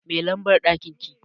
Me lambar ɗakin ki?